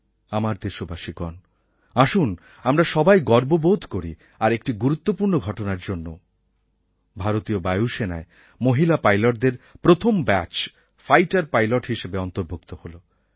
আমার দেশবাসীগণ আসুন আমরা সবাই গর্ববোধ করি আর একটি গুরুত্বপূর্ণ ঘটনার জন্যও ভারতীয় বায়ু সেনায় মহিলা পাইলটদের প্রথম ব্যাচ ফাইটার পাইলট হিসেবে অন্তর্ভুক্ত হলো